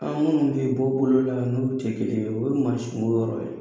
An minnu bɛ bɔ bolo la n'u tɛ kelen ye olu mansin yɔrɔ ye